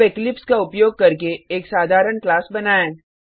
अब इक्लिप्स का उपयोग करके एक साधारण क्लास बनाएँ